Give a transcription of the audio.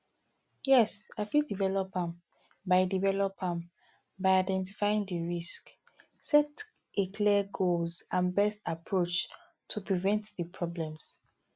yes i fit develop am by develop am by identifying di risks set a clear goals and best approaches to prevent di problems